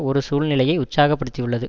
ஒரு சூழ்நிலையை உற்சாகப்படுத்தியுள்ளது